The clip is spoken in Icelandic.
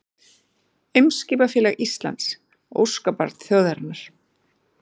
Eimskipafélag Íslands, óskabarn þjóðarinnar